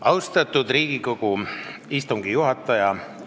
Austatud Riigikogu istungi juhataja!